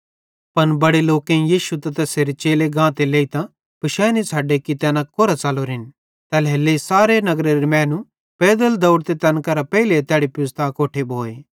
पन बड़े लोकेईं यीशु त तैसेरे चेले गाते लेइतां पिशानी छ़ड्डे कि तैना कोरां च़लोरेन तैल्हेरेलेइ सारे नगरेरे मैनू पैदल दौड़तां तैन केरां पेइले तैड़ी पुज़्तां अकोट्ठे भोए